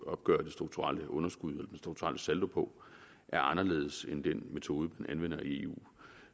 opgøre det strukturelle underskud den strukturelle saldo på er anderledes end den metode man anvender i eu